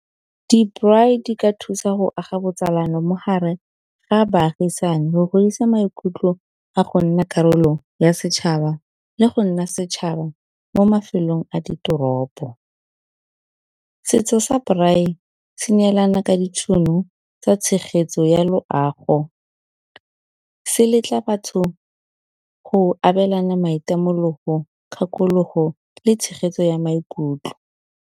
Di-braai di ka thusa go aga botsalano mo gare ga baagisane go godisa maikutlo a go nna karolo ya setšhaba le go nna setšhaba mo mafelong a ditoropo. Setso sa braai se neelana ka ditšhono tsa tshegetso ya loago, se letla batho go abelana maitemologo, kgakologo le tshegetso ya maikutlo.